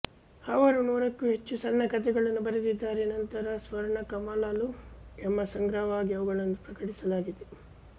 ಅವರು ನೂರಕ್ಕೂ ಹೆಚ್ಚು ಸಣ್ಣ ಕಥೆಗಳನ್ನು ಬರೆದಿದ್ದಾರೆ ನಂತರ ಸ್ವರ್ಣಕಮಲಾಲು ಎಂಬ ಸಂಗ್ರಹವಾಗಿ ಅವುಗಳನ್ನು ಪ್ರಕಟಿಸಲಾಗಿದೆ